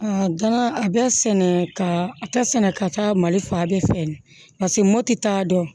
gana a bɛ sɛnɛ ka ta sɛnɛ ka taa mali faa bɛɛ fɛ paseke mɔti t'a dɔn